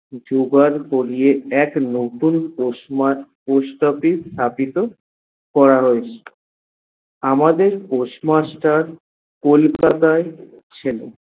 জোগাড় করে এক নতুন post office স্থাপিত করা হয়েছে। আমাদের postmaster কলকাতায় ছিল।